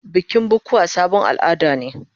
Bikin bukuwa sabon al'ada ne.